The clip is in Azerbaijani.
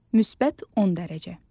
müsbət 10 dərəcə.